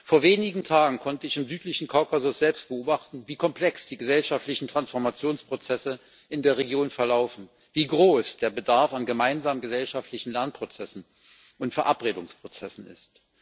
Vor wenigen Tagen konnte ich im südlichen Kaukasus selbst beobachten, wie komplex die gesellschaftlichen Transformationsprozesse in der Region verlaufen, wie groß der Bedarf an gemeinsamen gesellschaftlichen Lernprozessen und Verabredungsprozessen ist.